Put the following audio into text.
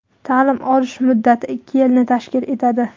Ta’lim olish muddati ikki yilni tashkil etadi.